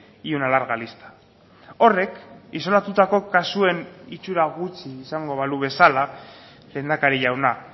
y una larga lista horrek isolatutako kasuen itxura gutxi izango balu bezala lehendakari jauna